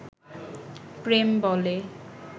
প্রেম বলে